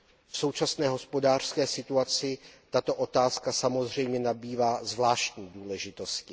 V současné hospodářské situaci tato otázka samozřejmě nabývá zvláštní důležitosti.